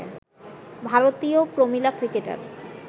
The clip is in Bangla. ভারতীয় প্রমিলা ক্রিকেটার